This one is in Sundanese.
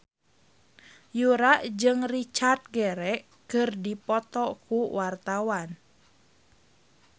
Yura jeung Richard Gere keur dipoto ku wartawan